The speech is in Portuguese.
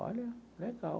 Olha, legal.